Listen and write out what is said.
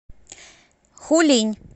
хулинь